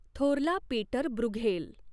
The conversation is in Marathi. थोरला पीटर ब्रूघेल